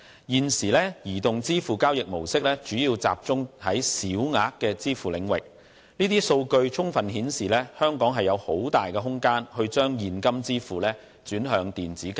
現時移動支付交易模式主要集中在小額支付領域，這些數據充分顯示，香港有很大的空間將現金支付轉向電子交易。